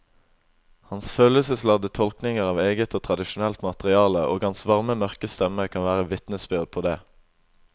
Hans følelsesladde tolkninger av eget og tradisjonelt materiale og hans varme mørke stemme kan være vitnesbyrd på det.